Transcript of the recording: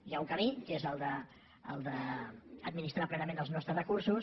hi ha un camí que és el d’administrar plenament els nostres recursos